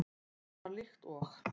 Hann var líkt og